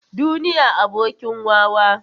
Duniya abokin wawa.